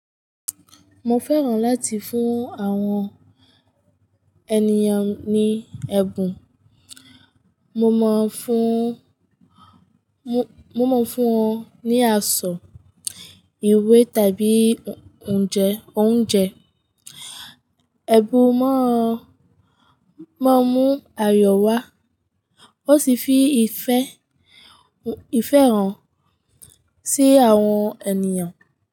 Mo fẹ́ràn láti fún àwọn ènìyàn ní ẹ̀bùn. Mo máa ń fún, mo, mo máa ń fún wọn ní aṣọ, ìwé tàbí oúnjẹ, oúnjẹ. Ẹ̀bùn máa ń, máa ń mú ayọ̀ wá. Ó sì fi ìfẹ́, ìfẹ́ hàn sí àwọn ènìyàn.